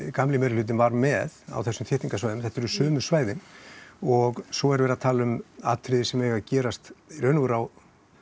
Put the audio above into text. gamli meiri hlutinn var með á þessum svæðum þetta eru sömu svæðin og svo er verið að tala um atriði sem eiga að gerast í raun og veru á